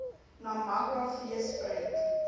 namakwa fees prent